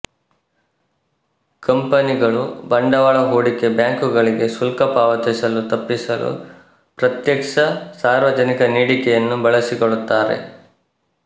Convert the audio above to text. ಕಂಪನಿಗಳು ಬಂಡವಾಳ ಹೂಡಿಕೆ ಬ್ಯಾಂಕುಗಳಿಗೆ ಶುಲ್ಕ ಪಾವತಿಸಲು ತಪ್ಪಿಸಲು ಪ್ರತ್ಯಕ್ಷ ಸಾರ್ವಜನಿಕ ನೀಡಿಕೆಯನ್ನು ಬಳಸಿಕೊಳ್ಳುತ್ತಾರೆ